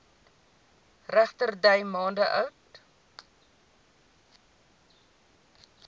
regterdy maande oud